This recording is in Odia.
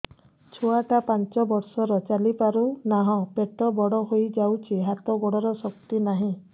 ଛୁଆଟା ପାଞ୍ଚ ବର୍ଷର ଚାଲି ପାରୁନାହଁ ପେଟ ବଡ ହୋଇ ଯାଉଛି ହାତ ଗୋଡ଼ର ଶକ୍ତି ନାହିଁ